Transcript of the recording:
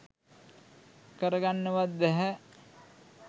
කරගන්නවත් බැහැ.